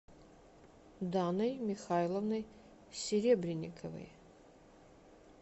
даной михайловной серебренниковой